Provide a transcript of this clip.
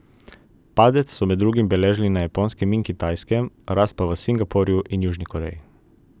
Padec so med drugim beležili na Japonskem in Kitajskem, rast pa v Singapurju in Južni Koreji.